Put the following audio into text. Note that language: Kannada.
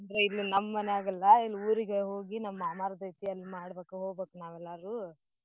ಇದು ನಮ್ ಮನ್ಯಾಗ ಅಲ್ಲಾ ಇಲ್ ಊರಿಗೆ ಹೋಗಿ ನಮ್ ಮಾಮಾರ್ದೈತಿ ಅಲ್ ಮಾಡ್ಬೇಕ್ ಹೋಬೆಕ್ ನಾವೆಲ್ಲಾರೂ.